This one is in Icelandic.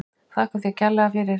Þakka þér fyrir þetta kærlega.